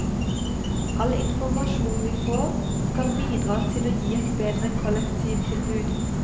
All informasjon vi får, skal bidra til å gi et bedre kollektivtilbud.